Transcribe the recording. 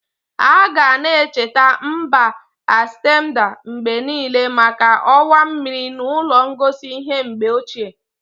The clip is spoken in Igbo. Aga-na echeta mba Amstedam mgbe niile maka ọwa mmiri na ụlọ ngosi ihe mgbe ochie.